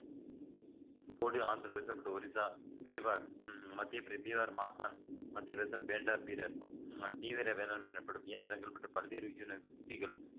போடு ஆந்திரப் பிரதேசம் மற்றும் ஒரிசா பீவார் உம் மத்யாபிரதே தீவார் மாஸ்தான் மத்தியபிரதேச பேண்டார் பீரர் மத்திய வீர வேளாண்மை எனப்படும் இயந்திரங்கள் மற்றும் பல்வேறு